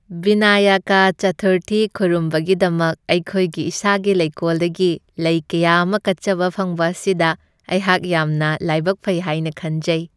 ꯕꯤꯅꯥꯌꯀꯥ ꯆꯊꯨꯔꯊꯤ ꯈꯨꯔꯨꯝꯕꯒꯤꯗꯃꯛ ꯑꯩꯈꯣꯏꯒꯤ ꯏꯁꯥꯒꯤ ꯂꯩꯀꯣꯜꯗꯒꯤ ꯂꯩ ꯀꯌꯥ ꯑꯃ ꯀꯠꯆꯕ ꯐꯪꯕ ꯑꯁꯤꯗ ꯑꯩꯍꯥꯛ ꯌꯥꯝꯅ ꯂꯩꯕꯛ ꯐꯩ ꯍꯥꯏꯅ ꯈꯟꯖꯩ ꯫